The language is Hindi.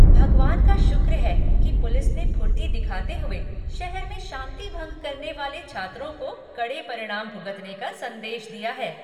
भगवान का शुक्र है कि पुलिस ने फुर्ती दिखाते हुए शहर में शांति भंग करने वाले छात्रों को कड़े परिणाम भुगतने का संदेश दिया है।